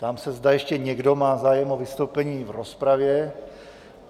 Ptám se, zda ještě někdo má zájem o vystoupení v rozpravě.